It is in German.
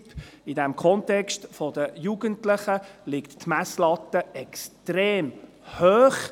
Und in diesem Kontext der Jugendlichen liegt die Messlatte extrem hoch.